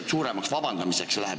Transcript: Aga jääme täna teema juurde!